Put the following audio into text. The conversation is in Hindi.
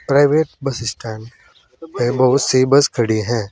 प्राइवेट बस स्टैंड पे बहुत सी बस खड़ी है।